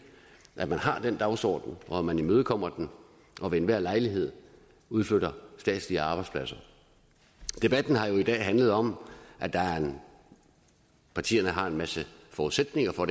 at man har den dagsorden og at man imødekommer den og ved enhver lejlighed udflytter statslige arbejdspladser debatten har jo i dag handlet om at partierne har en masse forudsætninger for